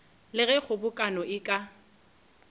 le ge kgobokano e ka